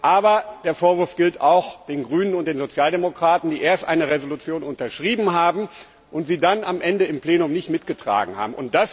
Aber der Vorwurf gilt auch den Grünen und den Sozialdemokraten, die erst eine Entschließung unterschrieben haben und sie dann am Ende im Plenum nicht mitgetragen haben.